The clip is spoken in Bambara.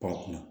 Pan kunna